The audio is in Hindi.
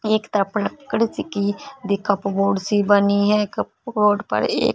कपबोर्ड सी बनी है कपबोर्ड पर एक--